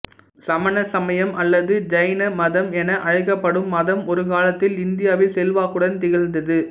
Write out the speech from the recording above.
சமண சமயம் அல்லது ஜைன மதம் என அழைக்கப்படும் மதம் ஒரு காலத்தில் இந்தியாவில் செல்வாக்குடன் திகழ்ந்தது